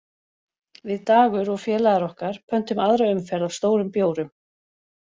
Við Dagur og félagar okkar pöntum aðra umferð af stórum bjórum